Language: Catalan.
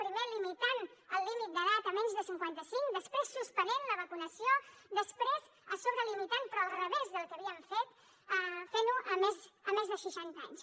primer limitant el límit d’edat a menys de cinquanta cinc després suspenent la vacunació després a sobre limitant però al revés del que havíem fet fent ho als de més de seixanta anys